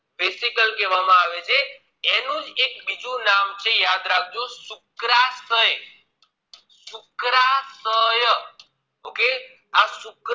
Resical કહેવામાં આવે છે એનુજ એક બીજું નામે છે યાદ રાખજો શુક્રાશય શુક્રાશય okay આ શુક્ર